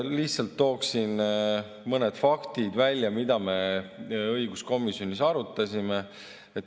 Lihtsalt toon välja mõned faktid, mida me õiguskomisjonis arutasime.